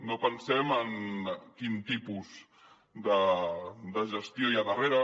no pensem en quin tipus de gestió hi ha darrere